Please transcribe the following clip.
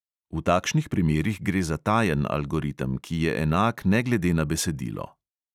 V takšnih primerih gre za tajen algoritem, ki je enak ne glede na besedilo.